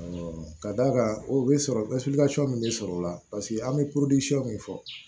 ka d'a kan o bɛ sɔrɔ min bɛ sɔrɔ o la paseke an bɛ min fɔ